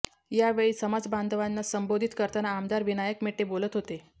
या वेळी समाजबांधवांना संबोधित करताना आमदार विनायक मेटे बोलत होते